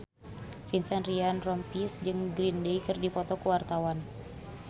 Vincent Ryan Rompies jeung Green Day keur dipoto ku wartawan